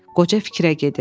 Qoca fikrə gedir.